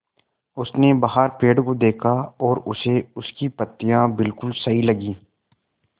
उसने बाहर पेड़ को देखा और उसे उसकी पत्तियाँ बिलकुल सही लगीं